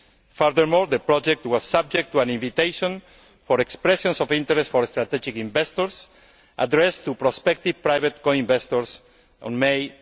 Furthermore, the project was subject to an invitation for expressions of interest from strategic investors addressed to prospective private co investors in May